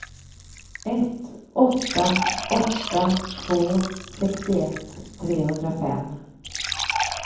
ett åtta åtta två sextioett trehundrafem